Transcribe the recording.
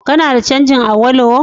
Kana da canjin Awolowo?